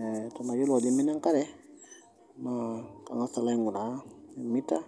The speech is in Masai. Ee tenayiolou ajo imina enkare naa kang'as alo aing'uraa meter